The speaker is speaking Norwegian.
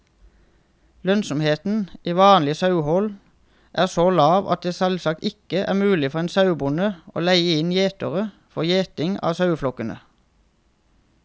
Lønnsomheten i vanlig sauehold er så lav at det selvsagt ikke er mulig for en sauebonde å leie inn gjetere for gjeting av saueflokkene.